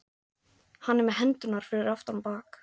Hann er með hendurnar fyrir aftan bak.